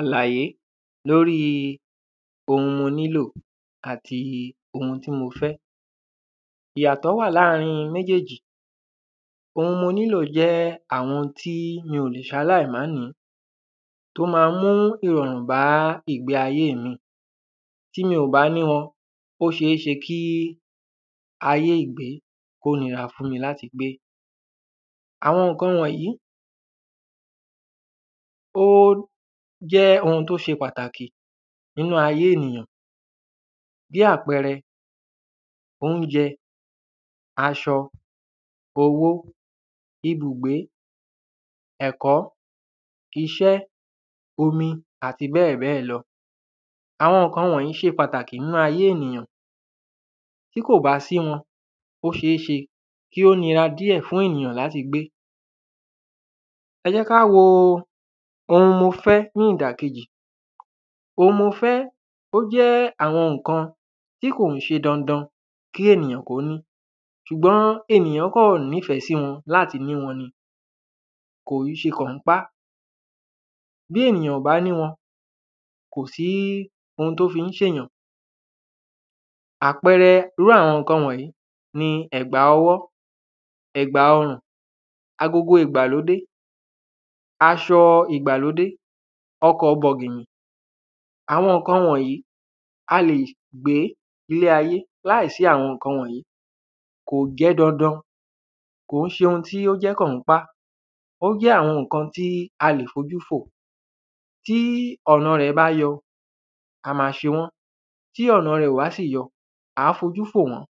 Àlàyé, lóri oun mo nílò àti ohun tí mo fẹ́, ìyàtọ̀ wa láàrin méjèjì, oun mo nílò jẹ́ àwọn tí ń mi ò le ṣaláyì má nìí, tó ma ń mú ìrọ̀rùn bá ìgbéayé mi, tí mi ò bá ní wọn, ó ṣe é ṣe kí ayé ìgbé, kó nira fún mi láti gbé. Àwọn ǹkan wọ̀nyí, ó jẹ́ oun tó ṣe pàtàkì taki nínu ayé ènìyàn. Bí àpẹrẹ, oúnjẹ, aṣọ, owó, ibùgbé, ẹ̀kọ́, iṣẹ́, omi àti bẹ́ẹ̀bẹ́ẹ̀ lọ. Àwọn ǹkan wọ̀nyí ṣe pàtàkì nínu ayé ènìyàn. Tí kò bá sí wọn, ó ṣe é ṣe kì ó nira fún ènìyàn láti gbé. Ẹ jẹ́ ká wo oun mo fẹ́ ní ìdà kejì. Oun mo fẹ́, ó jẹ́ àwọn ǹkan, tí kò kín ṣe dandan kí ènìyàn kó ní, ṣùgbọ́n ènìyán kàn ní fẹ̀ẹ́ sí wọn láti ní wọn ni. Kò yí ṣe kǎnpá. Bí ènìyàn ò bá ní wọn, kò sí oun tó fi ń ṣẹ nìyàn. Àpẹrẹ, irú àwọn ǹkan wọ̀nyí ní ẹ̀gbà ọwọ́, ẹ̀gbà ọrùn, agogo ìgbàlódé, aṣọ ìgbàlódé, ọkọ̀ọ bọ̀ginnì. Àwọn ǹkan wọ̀nyí, a lè gbé ilé ayé, láàìsí àwọn ǹkan wọ̀nyí, kò ṣe dandan, kò ń ṣe oun tí ó jẹ́ kǎnpà. Ó jẹ́ àwọn ǹkan tí a lè fojú fò, tí ọ̀na rẹ̀ bá yọ, a ma ṣe wọ́n, tí ọ̀na rẹ̀ ó bá sì yọ, ǎ f’ojú fò wọ́n,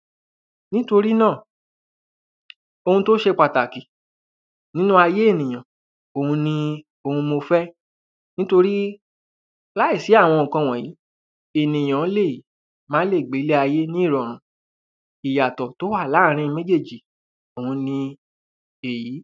nítorí náà, oun tó ṣe pàtàkì, nínu ayé ènìyàn, òun ni, òun ni mo fẹ́, nítorí láàsí àwọn ǹkan wọ̀nyí, ènìyán lè, má lè gbé ilé-ayé ní rọ̀rùn. Ìyàtọ̀ tó wà láàrin méjèjì, òun ni èyí.